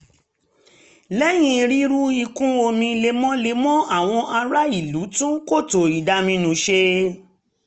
lẹ́yìn rírí ìkún omi lemọ́lemọ́ àwọn ará ìlú tún kòtò ìdaminù ṣe